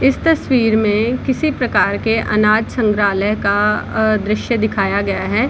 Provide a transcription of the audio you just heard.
इस तस्वीर में किसी प्रकार के अनाज संग्रहालय का दृश्य दिखाया गया है।